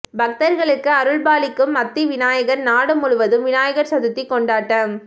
பக்தர்களுக்கு அருள்பாளிக்கும் அத்தி விநாயகர் நாடு முழுவதும் விநாயகர் சதுர்த்தி கொண்டாட்டம்